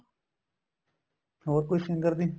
ਹੋਰ ਕੋਈ singer ਦੀ